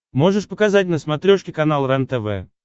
можешь показать на смотрешке канал рентв